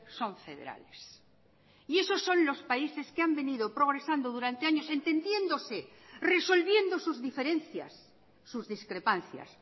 son federales y esos son los países que han venido progresando durante años entendiéndose resolviendo sus diferencias sus discrepancias